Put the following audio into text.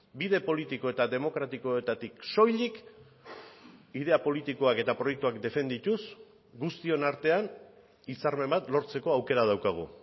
bide politiko eta demokratikoetatik soilik idea politikoak eta proiektuak defendituz guztion artean hitzarmen bat lortzeko aukera daukagu